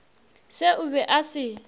se o be a se